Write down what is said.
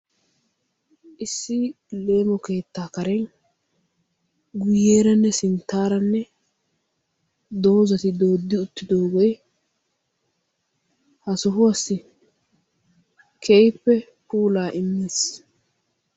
Issi leemo keetta karen guyeeranne sinttaaranne doozati doodo uttidooge ha sohuwassi keehippe puula immees.